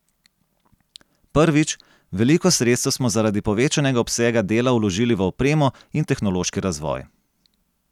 Prvič, veliko sredstev smo zaradi povečanega obsega dela vložili v opremo in tehnološki razvoj.